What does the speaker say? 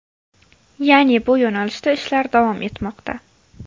Ya’ni bu yo‘nalishda ishlar davom etmoqda.